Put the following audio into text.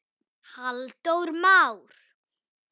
Halldór Már.